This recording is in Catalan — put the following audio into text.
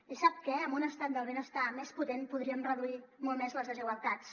i sap què amb un estat del benestar més potent podríem reduir molt més les desigualtats